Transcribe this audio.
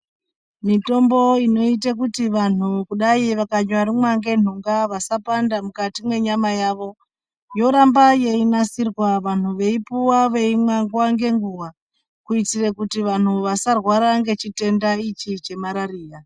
Mutombo inoite kuti vanhu, kudai vakanyamborumwa ngenhunga vasapanda mukati mwenyama yavo, yoramba yeinasirwa, vanhu veipuwa veimwa nguva nenguva, kuitire kuti vanhu vasarwara ngechitenda ichi chemarariya.